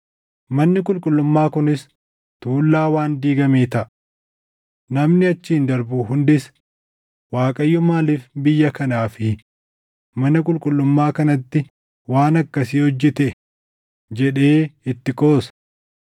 Manni qulqullummaa kunis tuullaa waan diigamee taʼa. Namni achiin darbu hundis, ‘ Waaqayyo maaliif biyya kanaa fi mana qulqullummaa kanatti waan akkasii hojjete?’ jedhee itti qoosa.